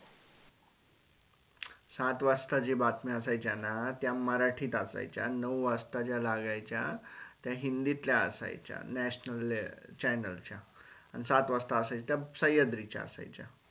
सात वाजता जे बातम्या असायच्या ना त्या मराठीत असायच्या नऊ वाजता ज्या लागायच्या च्या त्या हिंदीतल्या असल्याच्या national channel च्या अन सात वाजता असायच्या त्या सह्याद्री च्या असायच्या